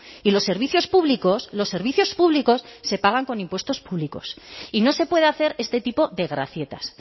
y los servicios públicos los servicios públicos se pagan con impuestos públicos y no se puede hacer este tipo de gracietas